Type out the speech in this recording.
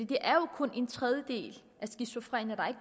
det er jo kun en tredjedel af de skizofrene der